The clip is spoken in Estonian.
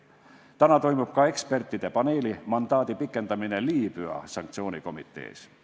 Täna toimub ka ekspertide paneeli mandaadi pikendamine Liibüa sanktsioonikomitees.